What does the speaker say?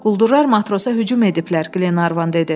Quldurlar matrosa hücum ediblər, Glevan dedi.